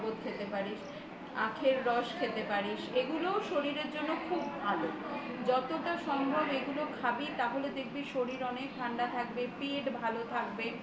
খেতে পারিস আখের রস খেতে পারিস এগুলো শরীরের জন্য খুব ভালো যতটা সম্ভব এগুলো খাবি তাহলে দেখবি শরীর অনেক ঠান্ডা থাকবে পেট ভালো থাকবে